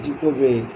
Ji ko be yen